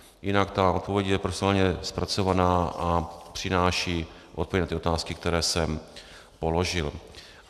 Jinak ta odpověď je profesionálně zpracovaná a přináší odpovědi na ty otázky, které jsem položil.